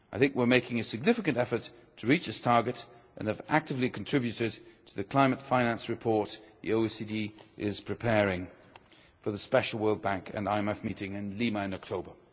We are making a significant effort to reach this target and have actively contributed to the climate finance report the OECD is preparing for the special World Bank and IMF meeting in Lima in October.